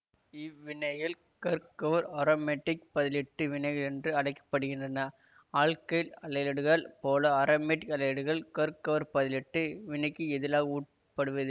இவ்வினைகள் கர்கவர் அரோமேட்டிக் பதிலீட்டு வினைகள் என்றும் அடை க்கப்படுகின்றன ஆல்கைல் ஆலைடுகளைப் போல அரோமேட்க் ஆலைடுகள் கர்க்கவர் பதிலிட்டு வினைக்கு எதிளாக உட்படுவதில்